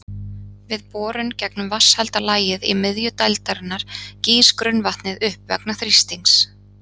Við borun gegnum vatnshelda lagið í miðju dældarinnar gýs grunnvatnið upp vegna þrýstings.